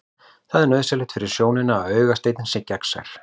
Það er nauðsynlegt fyrir sjónina að augasteininn sé gegnsær.